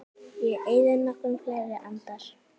Ég eyði nokkrum fleiri andar